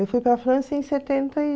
Eu fui para a França em setenta e...